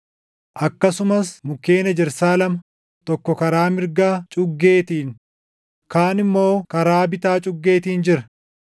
Akkasumas mukkeen ejersaa lama, tokko karaa mirga cuggeetiin, kaan immoo karaa bitaa cuggeetiin jira.”